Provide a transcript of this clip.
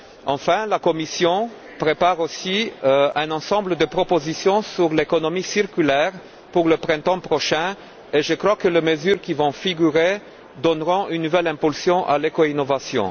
Enfin, la Commission prépare aussi un ensemble de propositions sur l'économie circulaire pour le printemps prochain, et je crois que ces mesures donneront une nouvelle impulsion à l'éco innovation.